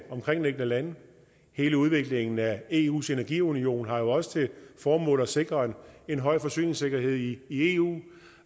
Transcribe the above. omkringliggende lande hele udviklingen af eus energiunion har jo også til formål at sikre en høj forsyningssikkerhed i eu